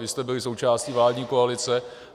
Vy jste byli součástí vládní koalice.